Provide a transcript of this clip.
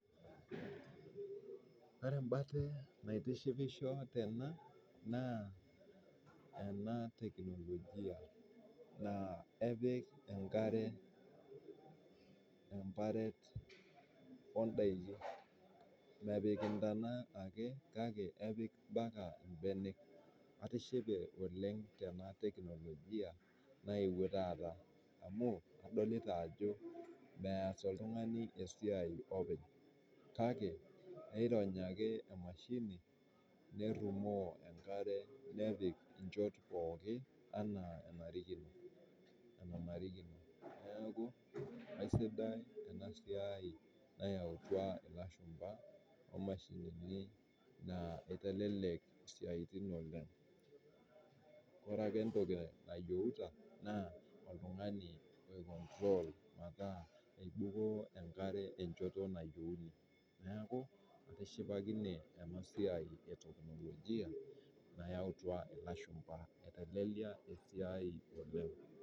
Ore embate naitsihipo tena naa ena teknolojia naa epik enkare emparet ondaki, mepik intana ake kake epik impaka imbene. Atishipe oleng tena teknolojia naewuo taata amuu adolita ajo meyas oltungani esiai openy, kake keirony ake emashini nerumoo enkare enpik inchot pooki anaa enarikino, neaku esidai ena siai nayautwa loshumba o amshinini naa eitelelek siatin oleng. Ore ake entoki nayeuta naa oltungani oicontrool metaa eibukoo enkare enchoto nayeuni, naaku atishipakine ena siai e teknolojia nayautwa elashumba, etelelia esiai oleng.